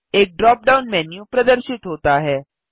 एक drop down menu प्रदर्शित होता है